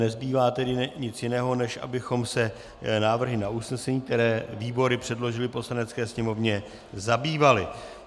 Nezbývá tedy nic jiného, než abychom se návrhy na usnesení, které výbory předložily Poslanecké sněmovně, zabývali.